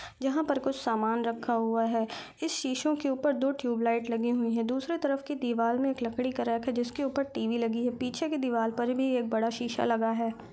जहाँ पर कुछ सामान रखा हुए है इस शीशों के ऊपर दो ट्यूब लाइट लगी हुई है दूसरे तरफ की दीवाल में एक लकड़ी का रैक है जिसके ऊपर टी_वी लगी हुई है पीछे के दीवाल पर भी एक बड़ा शीशा लगा हुआ हैं।